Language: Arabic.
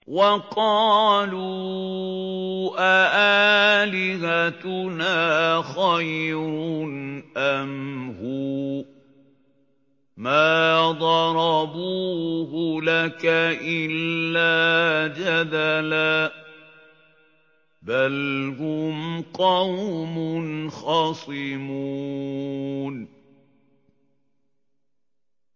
وَقَالُوا أَآلِهَتُنَا خَيْرٌ أَمْ هُوَ ۚ مَا ضَرَبُوهُ لَكَ إِلَّا جَدَلًا ۚ بَلْ هُمْ قَوْمٌ خَصِمُونَ